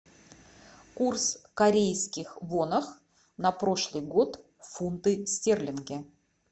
курс корейских вонах на прошлый год фунты стерлинги